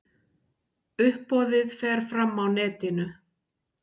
Uppboðið fer fram á netinu.